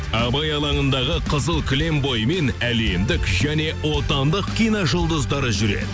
абай алаңындағы қызыл кілем бойымен әлемдік және отандық кино жұлдыздары жүреді